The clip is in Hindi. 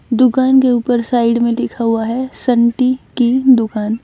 दुकान के ऊपर साइड में लिखा हुआ है संटी की दुकान।